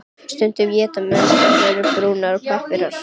Stundum éta menn þær af brúnum pappír.